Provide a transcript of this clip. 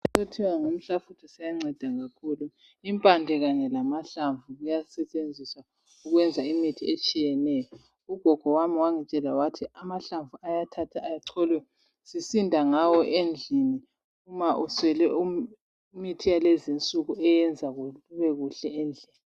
Isihlahla esithiwa ngumhlafutho siyanceda kakhulu. Impande kanye lamahlamvu kuyasetshenziswa ukwenza imithi etshiyeneyo. Ugogo wami wangitshela wathi amahlamvu ayathathwa acholwe usinde ngawo endlini nxa uswele imithi yakulezi insuku.